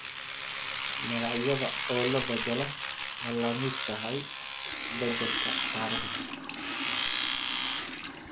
Magacyada oo la beddelaa ma la mid tahay beddelka taariikhda?